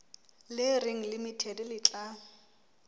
le reng limited le tla